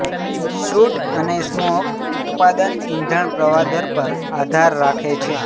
suit અને smoke ઉત્પાદન ઇંધણ પ્રવાહ દર પર આધાર રાખે છે